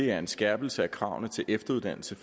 er en skærpelse af kravene til efteruddannelse